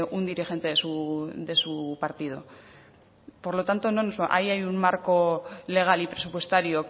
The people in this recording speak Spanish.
un dirigente de su partido por lo tanto no nos va ahí hay un marco legal y presupuestario